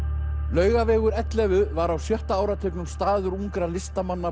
Laugavegur ellefu var á sjötta áratugnum staður ungra listamanna